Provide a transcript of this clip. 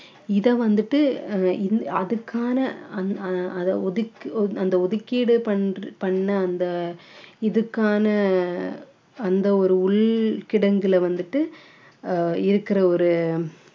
இதை வந்துட்டு அஹ் இந்~ அதுக்கான அந்~ அஹ் அத ஒதுக்~ அந்த ஒதுக்கீடு பண்ற பண்ண அந்த இதுக்கான அந்த ஒரு உள் கிடங்குல வந்துட்டு ஆஹ் இருக்கிற ஒரு